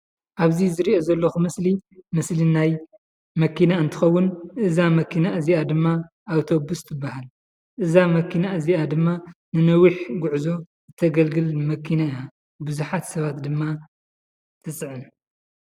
ኣብዚ ዝሪኦ ዘለኹ ምስሊ፡ ምስሊ ናይ መኪና እንትኸውን እዛ መኪና እዚኣ ድማ ኣውቶብስ ትባሃል፡፡ እዛ መኪና እዚኣ ድማ ንነዊሕ ጉዕዞ እተግልግል መኪና እያ፡፡ ብዙሓት ሰባት ድማ ትፅዕን፡፡